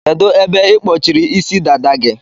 Kedu ebe ikpọchiri Ịsị dada gị?